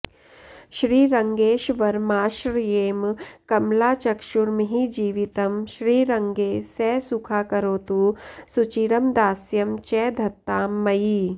श्रीरङ्गेश्वरमाश्रयेम कमलाचक्षुर्महीजीवितं श्रीरङ्गे स सुखाकरोतु सुचिरं दास्यं च धत्तां मयि